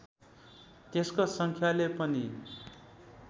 त्यसको सङ्ख्याले पनि